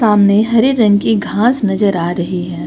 सामने हरी रंग की घास नजर आ रही है।